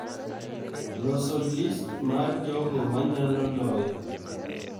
Loso list mar jogo manyalo loyo